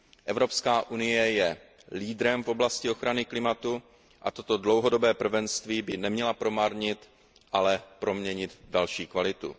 Evropská unie je leaderem v oblasti ochrany klimatu a toto dlouhodobé prvenství by neměla promarnit, ale proměnit v další kvalitu.